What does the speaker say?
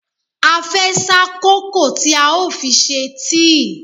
A fẹ́ sá kòkó tí a ó fi ṣe tíì.